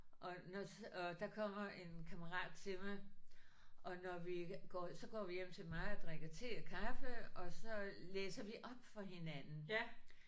Og når og der kommer en kammerat til mig og når vi går så går vi hjem til mig og drikker te og kaffe og så læser vi op for hinanden